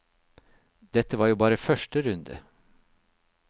Dette var jo bare første runde.